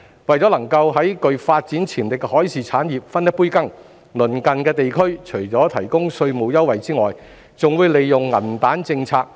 為能夠在具發展潛力的海事產業分一杯羹，鄰近地區除提供稅務優惠外，還會利用"銀彈"政策。